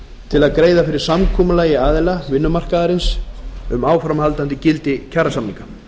til að greiða fyrir samkomulagi aðila vinnumarkaðarins um áframhaldandi gildi kjarasamninga